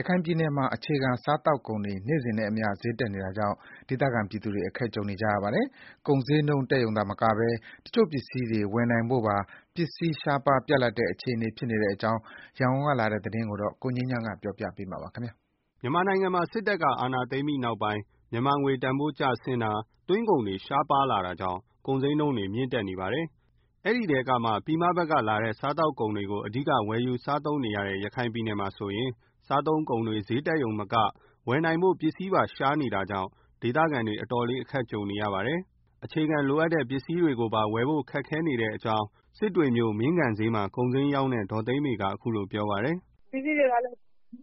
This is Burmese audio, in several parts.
ရခိုင်ပြည်နယ်မှာ အခြေခံစားသောက်ကုန်တွေ နေ့စဉ်နဲ့အမျှ ဈေးတက်နေတာကြောင့် ဒေသခံပြည်သူတွေ အခက်ကြုံနေရပါတယ်။ ကုန်ဈေးနှုန်းတက်ရုံမက တချို့ပစ္စည်းတွေ ရှားပါးပြတ်လပ်နေတဲ့အကြောင်း ရန်ကုန်ကလာတဲ့သတင်းကို ကိုငြိမ်းချမ်းက တင်ပြပေးထားပါတယ်။ မြန်မာနိုင်ငံမှာ စစ်တပ်က အာဏာသိမ်းပြီးနောက်ပိုင်း မြန်မာငွေတန်ဖိုးကျဆင်းတာ၊ သွင်းကုန် တွေ ရှားလာတာကြောင့် ကုန်ဈေးနှုန်းတွေ မြင့်တက်နေပါတယ်။ အဲဒီထဲကမှ ပြည်မဘက်ကလာတဲ့ စားသောက်ကုန်တွေကို အဓိကဝယ်ယူစားသုံးနေတဲ့ ရခိုင်ပြည်နယ်မှာဆိုရင် စားသုံးကုန်တွေ ဈေးတက်ရုံမက ဝယ်နိုင်ဖို့ပါ ပစ္စည်းရှားနေတာကြောင့် ဒေသခံတွေ အတော်လေး အခက်ကြုံနေပါတယ်။ အခြေခံလိုအပ်တဲ့ ပစ္စည်းတွေကိုပါ ဝယ်ဖို့ခက်နေတယ်လို့ ဒေသခံတဦးဖြစ်တဲ့ ဒေါ်သိန်းမေက ပြောပါတယ်။ “ပစ္စည်းတွေကလည်း တနေ့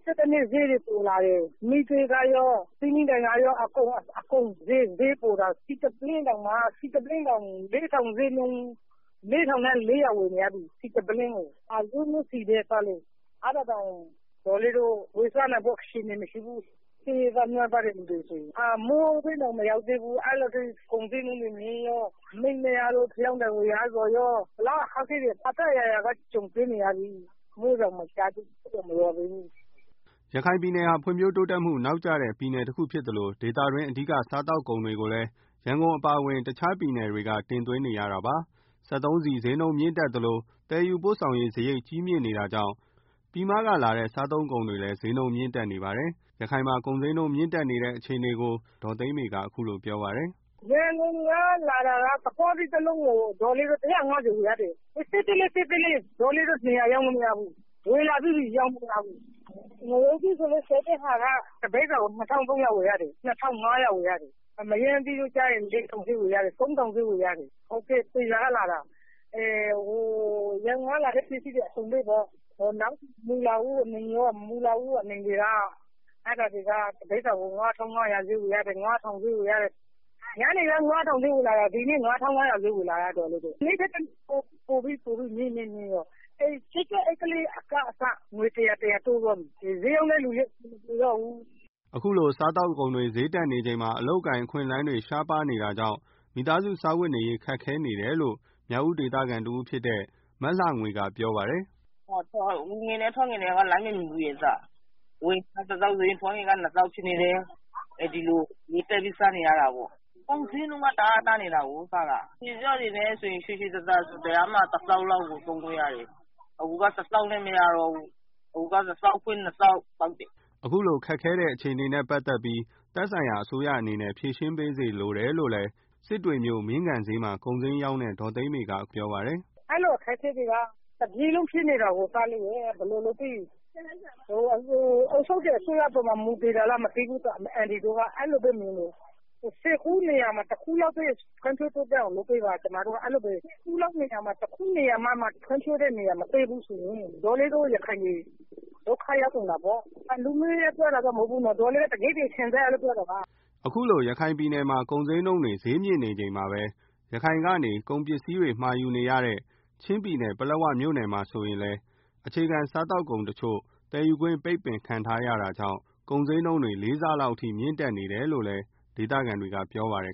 ထက်တနေ့ ဈေးတွေပိုလာတယ်၊ မီးသွေးရော၊ ဖယောင်းတိုင်တွေရော၊ အကုန်ဈေးတက်တယ်။ ဆီတပုလင်းကို ၄,၄၀၀ ဝယ်နေရတယ်။ အဲဒါတောင် ရိုးရိုးဆီပဲနော်၊ အဲဒါ ဝယ်စားနိုင်ဖို့ အခြေအနေမရှိဘူး။ မိုးတွင်းတောင် မရောက်သေးဘူး၊ ကုန်ဈေးနှုန်းတွေ မြင့်တက်နေတာ။ မီးပျက်လို့ ဖယောင်းတိုင် ဝယ်ရတာကော ဘယ်လောက် ခက်ခဲ နေကြသလဲဆိုရင် တော်တော်ခက်ခဲနေကြပါပြီ။” ရခိုင်ပြည်နယ်ဟာ ဖွံ့ဖြိုးတိုးတက်မှု နောက်ကျတဲ့ ပြည်နယ်တခုဖြစ်သလို ဒေသတွင်း အဓိက စားသောက်ကုန်တွေကိုလည်း ရန်ကုန်အပါအဝင် တခြားပြည်နယ်တွေက တင်သွင်းနေရတာ ဖြစ်ပါတယ်။ စက်သုံးဆီဈေးနှုန်းတွေ မြင့်တက်လို့ သယ်ယူစရိတ် ကြီးနေတာကြောင့် ပြည်မကလာတဲ့ စားသုံးကုန်တွေလည်း ဈေးတက်နေတယ်လို့ ဒေါ်သိန်းမေကပြောပါတယ်။ “ရန်ကုန်ကလာတာက သခွားသီးတလုံးကို ဒေါ်လေးတို့ ၁၅၀ ဝယ်ရတယ်။ သေးသေးလေးပဲ၊ ငရုပ်သီးဆိုရင်လည်း တပိဿာကို ၂,၅၀၀ ဝယ်ရတယ်။ မရမ်းသီးတို့ ကျတော့ ၃,၀၀၀ ဈေးဝယ်ရတယ်။ ရန်ကုန်ကလာတဲ့ ပစ္စည်းတွေ အကုန်လုံးပေါ့၊ မုန်လာဥအနီတွေက တပိသာကို ၅,၀၀ ဈေးဝယ်ရတယ်။ မနေ့က ၅,၀၀၀ ဈေးနဲ့ ဝယ်လို့ရရင် ဒီနေ့ဆိုရင် ၅,၅၀၀ ဈေးဝယ်နေရတယ်၊ တနေ့ထက် တနေ့ ပိုပြီးတော့ မြင့်မြင့်လာတာ၊ ပလက်စတိတ် အိပ်ကလေးက အစ ငွေ ၁၀၀ တိုးသွားပြီ... ဆိုတော့ ဈေးရောင်းတဲ့သူတွေလည်း အဆင် မပြေတော့ဘူး” အခုလို စားသောက်ကုန်တွေ ဈေးတက်နေချိန်မှာ အလုပ်အကိုင်အခွင့်အလမ်းတွေ ရှားပါးနေတာကြောင့် မိသားစုစားဝတ်နေရေး အတွက် ခက်ခဲနေတယ်လို့လည်း မြောက်ဦးေဒေသခံတစ်ဦးဖြစ်တဲ့ မလှငွေက ပြောပါတယ်။ “ဝင်ငွေနဲ့ ထွက်ငွေနဲ့က လိုက်မမှီဘူးလေ။ ဟုတ်၊ ဝင်ငွေက တသောင်းဆိုရင် ထွက်ငွေက နှစ်သောင်းဖြစ်နေတယ်၊ အဲဒီလို စားနေရတယ်၊ ကုန်ဈေးနှုန်းတက် တအားတက်နေတာကို အရင်က မိသားစားစရိတ်က တရက်မှာ တသောင်းလောက်ပဲ ကုန်တယ်။ အခုက တသောင်းနဲ့ မရတော့ဘူး။ နှစ်သောင်းအထိကုန်တယ်။” အခုလို ခက်ခဲနေတဲ့ အခြေအနေတွေနဲ့ ပတ်သတ်လို့ သက်ဆိုင်ရာ အစိုးရအနေနဲ့ ဖြေရှင်းပေးစေချင်တယ်လို့လည်း ဒေါ်သိန်းမေက ပြောပါတယ်။ “အဲလို အခက်အခဲတွေက တပြည်နယ်လုံးဖြစ်နေတာကို အုပ်ချုပ်တဲ့အစိုးရအပေါ်မှာ မူတည် တာလားတော့မသိဘူး။ အန်တီတို့က ဆယ်စုနေရာမှာ တခုလောက်ပဲ ဖွံ့ဖြိုးတိုးတက်အောင်လုပ်ပေးပါ။ တခုနေရာမှ ဖွံ့ဖြိုးတဲ့နေရာမတွေ့ဘူးဆိုရင် ရခိုင်တွေ ဒုက္ခရောက်ကုန်တာပေါ့။ လူမျိုးရေး ပြောတာတော့ မဟုတ်ပါဘူး။ ဒေါ်လေးတို့ တကယ့် တကယ်ခံစားရလို့ ပြောတာပါ။” အခုလို ရခိုင်ပြည်နယ်မှာ ကုန်ဈေးနှုန်းတွေဈေးကြီးနေချိန်မှာ ရခိုင်ကနေ ကုန်စည်တွေမှာယူနေရတဲ့ ချင်းပြည်နယ်က ပလက်ဝမြို့နယ်မှာဆိုရင်လည်း အခြေခံ စားသောက်ကုန်တချို့ သယ်ယူခွင့်ပိတ်ပင်ခံထားရတာကြောင့် ကုန်ဈေးနှုန်းတွေ ၄ ဆလောက်အထိ မြင့်တက်နေတယ်လို့ ဒေသခံတွေက ပြောပါတယ်